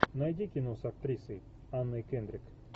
найди кино с актрисой анной кендрик